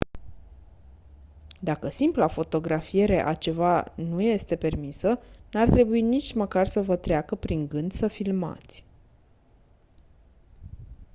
dacă simpla fotografiere a ceva nu este permisă n-ar trebui nici măcar să vă treacă prin gând să filmați